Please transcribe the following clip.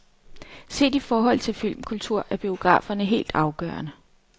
Set i forhold til filmkultur er biograferne helt afgørende.